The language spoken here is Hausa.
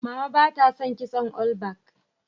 Mama ba ta son kitson olbak